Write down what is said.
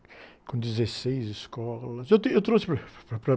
com dezesseis escolas.u tenho, eu trouxe...